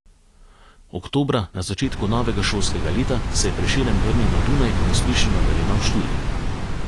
Oktobra, na začetku novega šolskega leta, se je Prešeren vrnil na Dunaj in uspešno nadaljeval študij.